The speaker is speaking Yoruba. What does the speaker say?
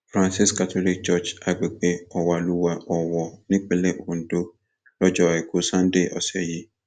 francis catholic church agbègbè ọwàlúwà owó nípínlẹ ondo lọjọ àìkú sanńdé ọsẹ yìí